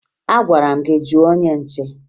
Agwara m gị jụọ onye nche!